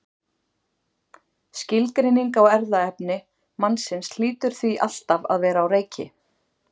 Skilgreining á erfðaefni mannsins hlýtur því alltaf að vera á reiki.